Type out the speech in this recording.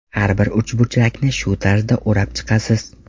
Har bir uchburchakni shu tarzda o‘rab chiqasiz.